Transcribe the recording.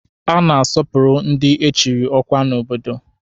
A na-asọpụrụ ndị echiri ọkwa n'obodo.